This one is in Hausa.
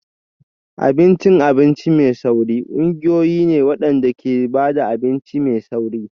Abincin abinci mai sauri ƙungiyoyi ne waɗanda ke ba da abinci mai sauri.